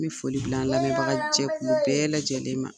N bɛ foli bila an lamɛnbaga jɛkulu bɛɛ lajɛlen ma.